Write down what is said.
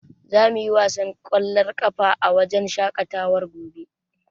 Za mu yi wasan ƙwallon ƙafa a wajen shaƙatawar gobe.